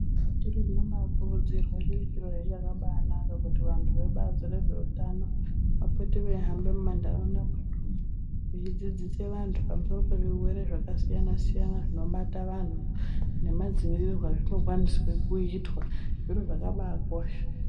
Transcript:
Zviro zvinobakurudzirwa chiri chirohe chakanaka kuti vantu vebazi rezveutano vapote veihamba mumanharaunda mwedumwo veidzidzisa vantu pamusoro pezvirwere zvakasiyana siyana zvinoibata vanhu nemadziirirwo azvinokwanisa kuitwa , zviro zvakabakosha.